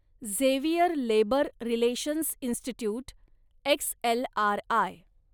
Xavier Labour Relations Institute, XLRI